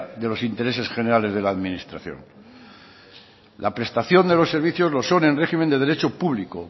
de los intereses generales de la administración la prestación de los servicios lo son en régimen de derecho público